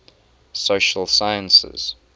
social sciences